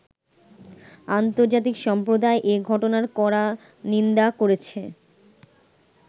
আন্তর্জাতিক সম্প্রদায় এ ঘটনার কড়া নিন্দা করেছে।